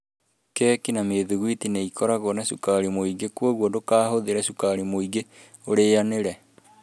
Keki na Mĩthugwiti nĩ ikoragwo na cukari mũingĩ, kwoguo ndũkahũthĩre cukari mũingĩ ũrĩanĩre.